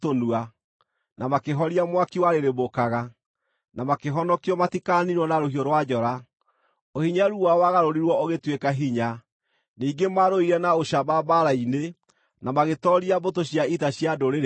na makĩhoria mwaki warĩrĩmbũkaga, na makĩhonokio matikaniinwo na rũhiũ rwa njora; ũhinyaru wao wagarũrirwo ũgĩtuĩka hinya; ningĩ maarũire na ũcamba mbaara-inĩ na magĩtooria mbũtũ cia ita cia ndũrĩrĩ ingĩ.